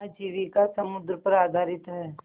आजीविका समुद्र पर आधारित है